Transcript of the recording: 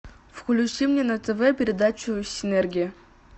включи мне на тв передачу синергия